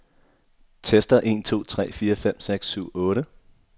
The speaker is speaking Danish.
Tester en to tre fire fem seks syv otte.